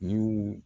Y'u